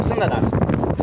O birisini də dart.